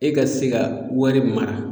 E ka se ka wari mara